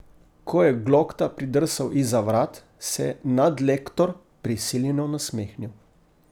Ko je Glokta pridrsal izza vrat, se je nadlektor prisiljeno nasmehnil.